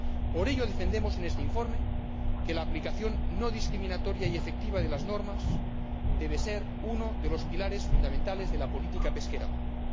Por ello defendemos en este informe que la aplicación no discriminatoria y efectiva de las normas debe ser uno de los pilares fundamentales de la Política Pesquera Común.